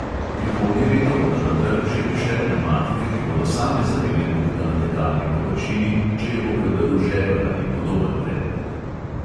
Prihodnje leto bodo na trg že prišle pnevmatike, ki bodo same zalile luknjo na tekalni površini, če jo bo predrl žebelj ali podoben predmet.